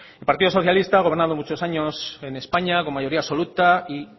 el partido socialista ha gobernado muchos años en españa con mayoría absoluta y